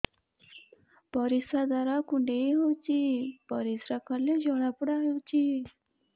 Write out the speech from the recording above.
ପରିଶ୍ରା ଦ୍ୱାର କୁଣ୍ଡେଇ ହେଉଚି ପରିଶ୍ରା କଲେ ଜଳାପୋଡା ହେଉଛି